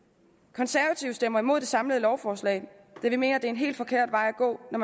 konservative stemmer imod det samlede lovforslag da vi mener at det er en helt forkert vej at gå at